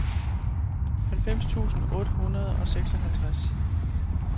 halvfems tusind otte hundrede og seksoghalvtreds